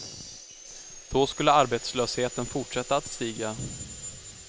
Då skulle arbetslösheten fortsätta att stiga.